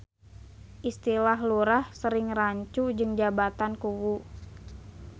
Istilah Lurah sering rancu jeung jabatan Kuwu.